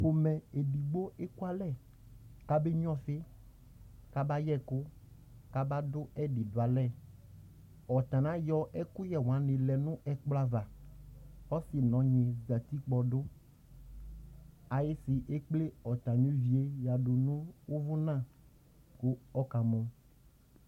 Pomɛ edigbo ekʋalɛ kabenyʋa ɔfɩ, kabayɛ ɛkʋ, kaba dʋ ɛdɩ dʋ alɛAtanɩ ayɔ ɛkʋyɛ wanɩ lɛ nʋ ɛkplɔ ava Ɔsɩ nʋ ɔnyɩ zǝtɩ kpɔdʋ Ayɩsɩ ekple atamɩ ʋvɩ yɛ yǝdʋ nʋ ʋvʋna, kʋ ɔkamɔ